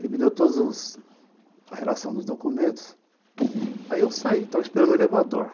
Ele me deu toda a relação dos documentos, aí eu saí, estava esperando o elevador.